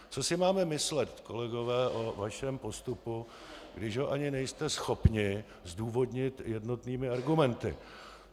Co si máme myslet, kolegové, o vašem postupu, když ho ani nejste schopni zdůvodnit jednotnými argumenty?